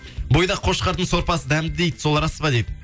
бойдақ қошқардың сорпасы дәмді дейді сол рас па дейді